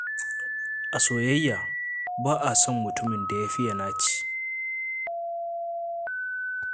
A soyayya, ba a son mutumin da ya faye naci.